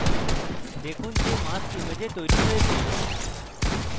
দেখুন যে mask image তৈরী হয়েছে